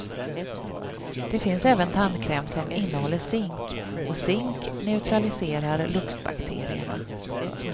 Det finns även tandkräm som innehåller zink och zink neutraliserar luktbakterierna.